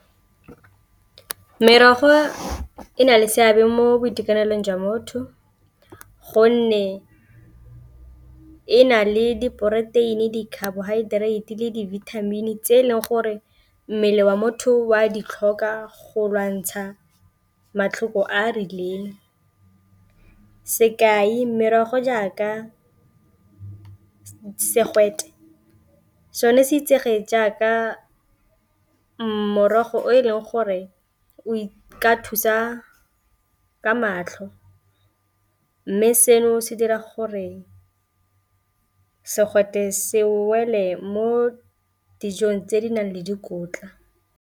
Merogo e na le seabe mo boitekanelong jwa motho gonne e na le diporoteini, di-carbohydrate le di-vitamin tse e leng gore mmele wa motho o a ditlhokwa go lwantsha matlhoko a a rileng, sekai merogo jaaka segwete sone se itsege jaaka mmogo o e leng gore o ka thusa ka matlho mme seno se dira gore segwete se wele mo dijong tse di nang le dikotla.